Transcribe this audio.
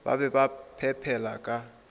ba be ba phepela ka